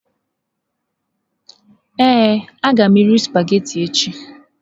Ee, a ga m eri sụpaghetị echi.